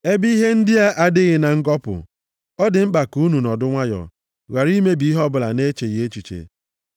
Ebe ihe ndị a adịghị na ngọpụ, ọ dị mkpa ka unu nọdụ nwayọọ, ghara imebi ihe ọbụla nʼecheghị echiche.